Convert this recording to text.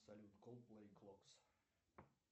салют кол плей клокс